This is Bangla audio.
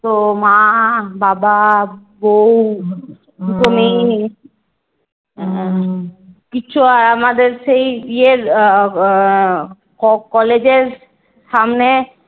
তো মা বাবা বউ দুটো মেয়ে কিচ্ছু আমাদের সেই ইয়ের আহ College এর সামনে